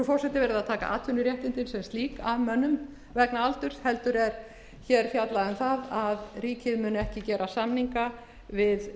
forseti verið að taka atvinnuréttindin sem slík af mönnum vegna aldurs heldur er hér fjallað um það að ríkið muni ekki gera samninga við